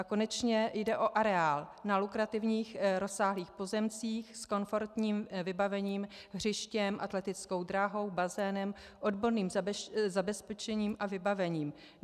A konečně, jde o areál na lukrativních rozsáhlých pozemcích s komfortním vybavením, hřištěm, atletickou dráhou, bazénem, odborným zabezpečením a vybavením.